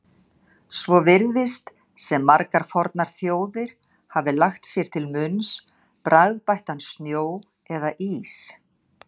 Svo virðist sem margar fornar þjóðir hafi lagt sér til munns bragðbættan snjó eða ís.